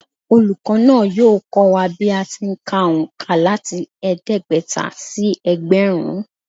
Olùkọ́ náà yóò kọ́ wa bí a ti ń kà òǹkà láti ẹ̀ẹ́dẹ́gbẹ̀ta sí ẹgbẹ̀rún